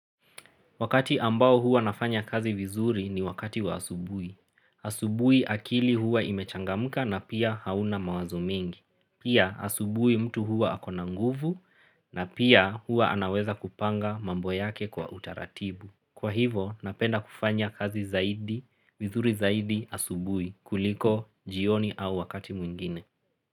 Wakati ambao huwa nafanya kazi vizuri ni wakati wa asubuhi asubui akili huwa imechangamka na pia hauna mawazo mingi. Pia asubui mtu huwa akona nguvu na pia huwa anaweza kupanga mambo yake kwa utaratibu. Kwa hivo napenda kufanya kazi zaidi, vizuri zaidi asubui kuliko jioni au wakati mwingine.